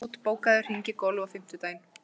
Helmút, bókaðu hring í golf á fimmtudaginn.